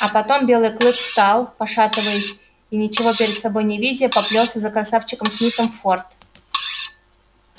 а потом белый клык встал пошатываясь и ничего перед собой не видя поплёлся за красавчиком смитом в форт